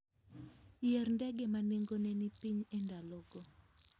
Yier ndege ma nengone ni piny e ndalogo.